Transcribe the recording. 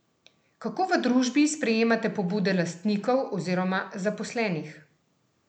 Kako v družbi sprejemate pobude lastnikov oziroma zaposlenih?